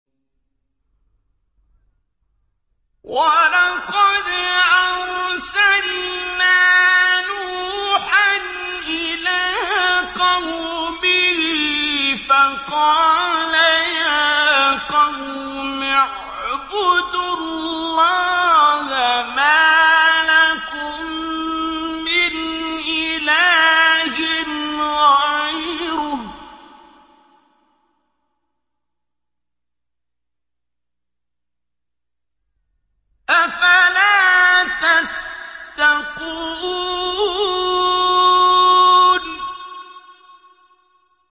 وَلَقَدْ أَرْسَلْنَا نُوحًا إِلَىٰ قَوْمِهِ فَقَالَ يَا قَوْمِ اعْبُدُوا اللَّهَ مَا لَكُم مِّنْ إِلَٰهٍ غَيْرُهُ ۖ أَفَلَا تَتَّقُونَ